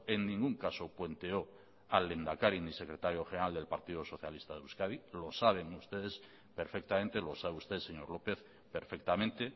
en ningún caso puenteó al lehendakari ni secretario general del partido socialista de euskadi lo saben ustedes perfectamente lo sabe usted señor lópez perfectamente